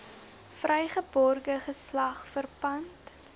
vrygebore geslag verpand